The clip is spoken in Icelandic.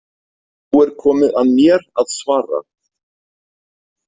Nú er komið að mér að svara.